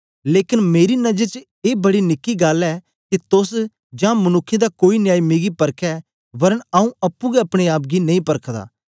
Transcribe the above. लेकन मेरी नजर च ए बड़ी निकी गल्ल ऐ के तोस जां मनुक्खें दा कोई न्यायी मिगी परखै वरन आऊँ अप्पुं गै अपने आप गी नेई परखदा